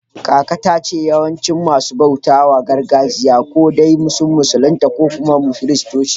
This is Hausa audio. Kaka ta ce yawancin masu bautar gargajiya ko dai sun musulunta ne ko kuma Kiristanci